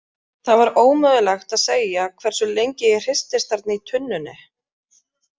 Það var ómögulegt að segja hversu lengi ég hristist þarna í tunnunni.